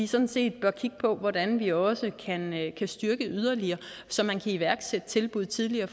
sådan set kigge på hvordan vi også kan styrke den yderligere så man kan iværksætte tilbud tidligere